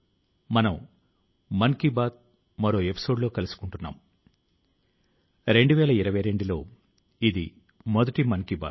ఈ సమయం లో మీరు 2021వ సంవత్సరానికి వీడ్కోలు చెప్తూ 2022వ సంవత్సరానికి స్వాగతం పలకడానికి సిద్ధమవుతూ ఉంటారు